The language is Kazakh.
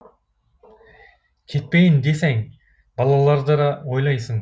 кетпейін десең балаларды да ойлайсың